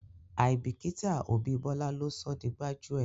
Àìbíkíta òbí Bọ́lá ló sọ di gbájúẹ̀.